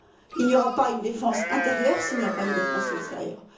Il n'y aura pas une défense intérieure s'il n'y a pas une défense extérieure.